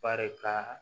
Barika